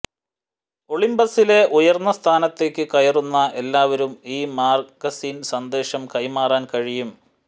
ഒളിമ്പസിലെ ഉയർന്ന സ്ഥാനത്തേക്ക് കയറുന്ന എല്ലാവരും ഈ മാഗസിനിൽ സന്ദേശം കൈമാറാൻ കഴിയും